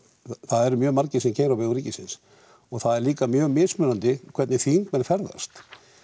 það eru mjög margir sem keyra á vegum ríkisins og það er líka mjög mismunandi hvernig þingmenn ferðast